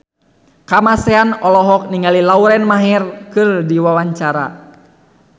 Kamasean olohok ningali Lauren Maher keur diwawancara